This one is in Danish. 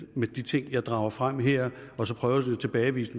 med de ting jeg drager frem her og så prøver at tilbagevise